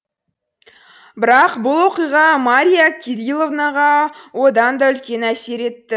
бірақ бұл оқиға марья кириловнаға одан да үлкен әсер етті